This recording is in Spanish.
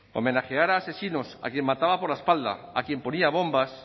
homenajear a asesinos a quién mataba por la espalda a quien ponían bombas